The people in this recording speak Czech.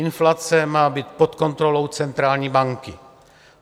Inflace má být pod kontrolou centrální banky.